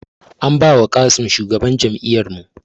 An ba wa Qassim shugaban jami; ar mu